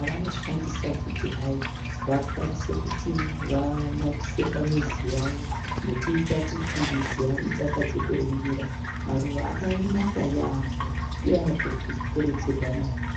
avanoshandisa kuti hai vakwanise kuti vanakise pamizi yavo nekuita kuti mizi yavo idakadze kuringira. Maruva akanaka yaambo uye anokurudzirwa maningi.